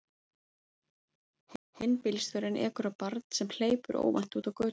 Hinn bílstjórinn ekur á barn sem hleypur óvænt út á götuna.